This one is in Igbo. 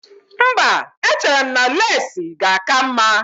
Mba, echere m na leesi ga-aka mma